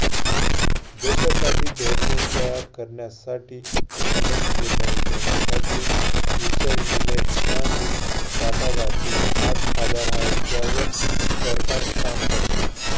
देशासाठी धोरणे तयार करण्यासाठी, अनेक निर्णय घेण्यासाठी विचार, विनय आणि वाटागाटी हाच आधार आहे ज्यावर सरकार काम करते.